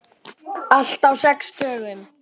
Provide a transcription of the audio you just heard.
Allt á sex dögum.